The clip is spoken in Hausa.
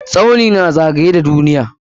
Tsauni na zagaye da duniya.